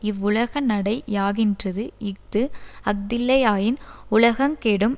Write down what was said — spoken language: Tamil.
இவ்வுலகநடை யாகின்றது இஃது அஃதில்லையாயின் உலகங்கெடும்